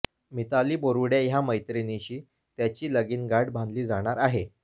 मिताली बोरुडे या मैत्रिणीशी त्याची लगीनगाठ बांधली जाणार आहे